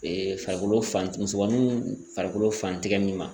Ee farikolo fan musomaninw farikolo fantigɛ min ma